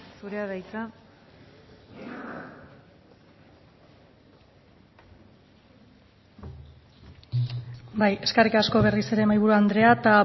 zurea da hitza bai eskerrik asko berriz ere mahaiburu andrea eta